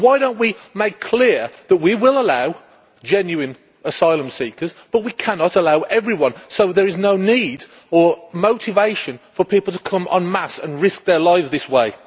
And why do we not make it clear that we will allow genuine asylum seekers but we cannot allow everyone, so there is no need or motivation for people to come en masse and risk their lives this way.